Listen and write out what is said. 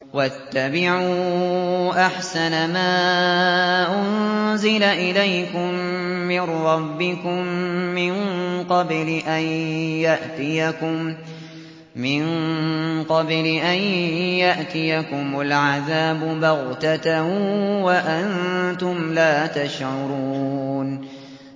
وَاتَّبِعُوا أَحْسَنَ مَا أُنزِلَ إِلَيْكُم مِّن رَّبِّكُم مِّن قَبْلِ أَن يَأْتِيَكُمُ الْعَذَابُ بَغْتَةً وَأَنتُمْ لَا تَشْعُرُونَ